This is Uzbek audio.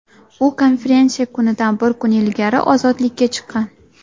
U konferensiya kunidan bir kun ilgari ozodlikka chiqqan.